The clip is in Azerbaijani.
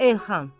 Elxan.